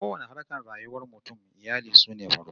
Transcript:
A kowanne harkar rayuwar mutum, iyali sune farko